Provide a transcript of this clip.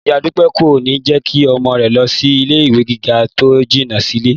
Ìyá Dúpẹ́ kò ní jẹ́ kí ọmọ rẹ̀ lọ sí ilé ìwé gíga tó jìnà sílé